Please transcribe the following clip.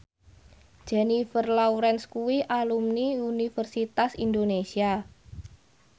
Jennifer Lawrence kuwi alumni Universitas Indonesia